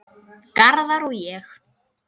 Garðar og ég